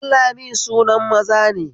Danlami sunan maza ne